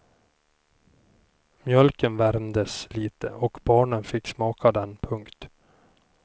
Mjölken värmdes lite och barnen fick smaka den. punkt